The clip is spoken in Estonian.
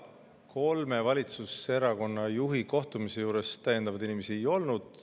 Kolme valitsuserakonna juhi kohtumisel täiendavaid inimesi ei olnud.